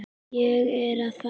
Ég er að fara.